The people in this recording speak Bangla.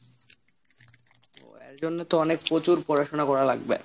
এর জন্য তো অনেক প্রচুর পড়াশোনা করা লাগবে।